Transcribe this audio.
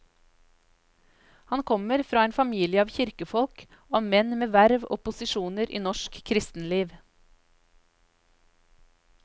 Han kommer fra en familie av kirkefolk, av menn med verv og posisjoner i norsk kristenliv.